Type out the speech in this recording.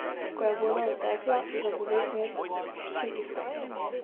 Ko je voda odtekla, zapove knez hči iskati.